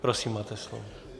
Prosím, máte slovo.